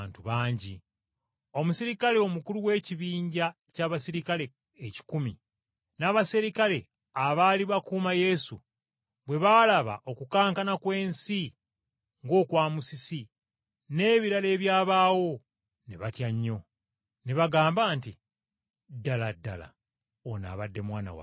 Omuserikale omukulu w’ekibinja ky’abaserikale ekikumi, n’abaserikale abaali bakuuma Yesu, bwe baalaba okukankana kw’ensi ng’okwa musisi, n’ebirala ebyabaawo, ne batya nnyo. Ne bagamba nti, “Ddala ddala ono abadde Mwana wa Katonda.”